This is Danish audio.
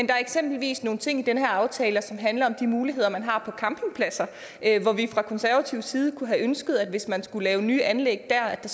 der er eksempelvis nogle ting i den her aftale som handler om de muligheder man har på campingpladser fra konservativ side kunne vi have ønsket hvis man skulle lave nye anlæg der at der